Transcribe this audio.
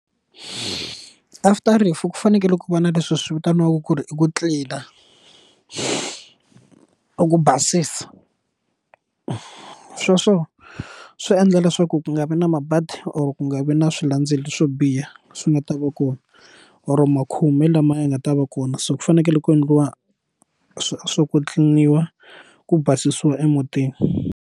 After rifu ku fanekele ku va na leswi swi vitaniwaku ku ri i ku tlilina ku basisa sweswo swi endla leswaku ku nga va na mabadi or ku nga vi na swilandzelo swo biha swi nga ta va kona or makhume lama ya nga ta va kona so ku fanekele ku endliwa swo ku tliliniwa ku basisiwa emutini.